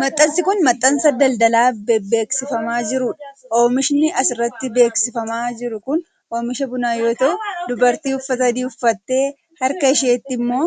Maxxansi kun, maxxansa daldalaa bebeeksifamaa jiruu dha. Oomishin as irratti bebeeksifamaa jiru kun, oomisha bunaa yoo tau, dubartii uffata adii uffattee harka isheetti immoo